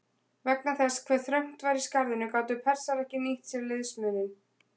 Vegna þess hve þröngt var í skarðinu gátu Persar ekki nýtt sér liðsmuninn.